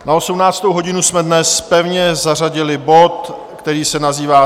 Na 18. hodinu jsme dnes pevně zařadili bod, který se nazývá